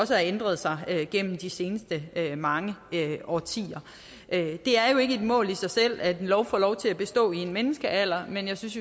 har ændret sig igennem de seneste mange årtier det er jo ikke et mål i sig selv at en lov får lov til at bestå i en menneskealder men jeg synes